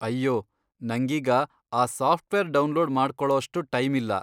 ಅಯ್ಯೋ, ನಂಗೀಗ ಆ ಸಾಫ್ಟ್ವೇರ್ ಡೌನ್ಲೋಡ್ ಮಾಡ್ಕೊಳೋಷ್ಟು ಟೈಮಿಲ್ಲ.